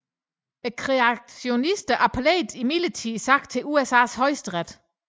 Kreationisterne appellerede imidlertid sagen til USAs højesteret